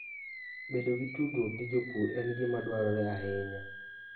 Bedo gi tudruok gi jopur en gima dwarore ahinya.